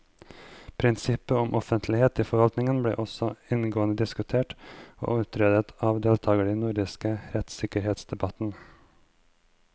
Prinsippet om offentlighet i forvaltningen ble også inngående diskutert og utredet av deltakerne i den nordiske rettssikkerhetsdebatten.